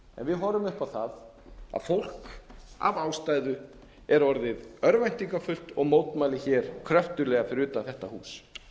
við horfum upp á það að fólk af ástæðu er orðið örvæntingarfullt og mótmælir hér kröftuglega fyrir utan þetta hús